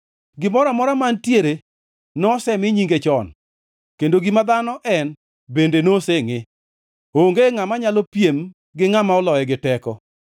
Gimoro amora mantiere nosemi nyinge chon, kendo gima dhano en bende nosengʼe; onge ngʼama nyalo piem gi ngʼama oloye gi teko.